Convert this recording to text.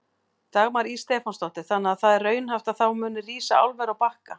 Dagmar Ýr Stefánsdóttir: Þannig að það er raunhæft að það muni rísa álver á Bakka?